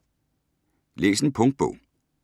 Læs en punktbog